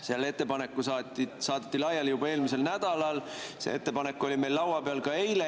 See ettepanek saadeti laiali juba eelmisel nädalal, see ettepanek oli meil laua peal ka eile.